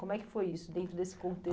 Como é que foi isso dentro desse